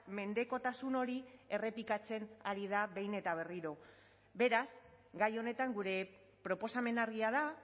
mendekotasun hori errepikatzen ari da behin eta berriro beraz gai honetan gure proposamena argia da